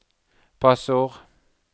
passord